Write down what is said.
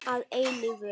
Að eilífu.